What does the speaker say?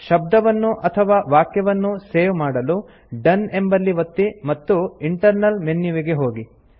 ಶಬ್ದವನ್ನು ಅಥವಾ ವಾಕ್ಯವನ್ನು ಸೇವ್ ಮಾಡಲು ಡೋನ್ ಎಂಬಲ್ಲಿ ಒತ್ತಿ ಮತ್ತು ಇಂಟರ್ನಲ್ ಮೆನ್ಯುವಿಗೆ ಹೋಗಿ